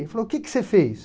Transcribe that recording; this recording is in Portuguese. Ele falou, Que que você fez?